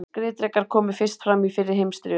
Skriðdrekar komu fyrst fram í fyrri heimsstyrjöldinni.